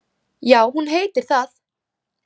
Já, hún heitir það.